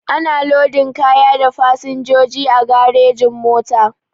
Ana lodin kaya da fasinjoji a garejin-mota.